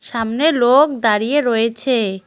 সামনে লোক দাঁড়িয়ে রয়েছে।